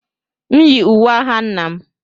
M yi uwe agha nna m